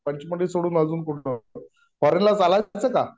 पंचमी सोडून अजून कुठे फॉरेनला चालायचं का